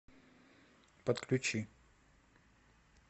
подключи